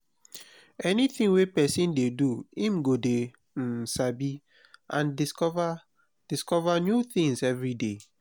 anything wey persin de do im go de um sabi and discover discover new things everyday